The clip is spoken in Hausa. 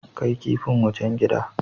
Kai kipin wajen gida.